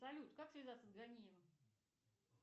салют как связаться с ганиевым